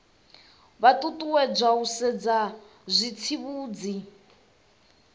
vha ṱuṱuwedzwa u sedza zwitsivhudzi